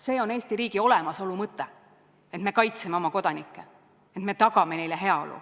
See on Eesti riigi olemasolu mõte, et me kaitseme oma kodanikke, et me tagame neile heaolu.